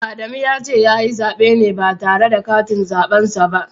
Adamu ya ce ya yi zaɓe ne ba tare da katin zaɓen sa ba.